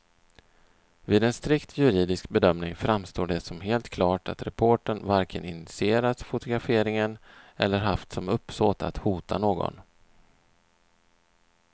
Vid en strikt juridisk bedömning framstår det som helt klart att reportern varken initierat fotograferingen eller haft som uppsåt att hota någon.